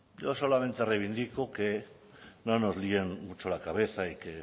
yo solamente reivindico que no nos líen mucho la cabeza y que